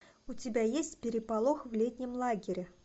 у тебя есть переполох в летнем лагере